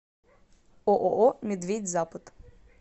ооо медведь запад